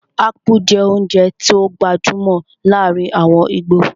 Ápú jẹ́ oúnjẹ tó gbajúmọ̀ láàrin àwọn íbò